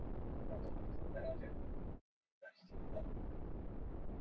Flest nafnanna á listanum eru sömu gælunöfn og þekkjast enn í dag.